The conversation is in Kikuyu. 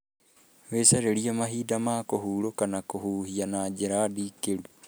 Wĩcarĩrie mahinda ma kũhurũka na kũhuhia na njĩra ndikĩru.